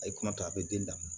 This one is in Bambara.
A ye kuma to a bɛ den lamɔ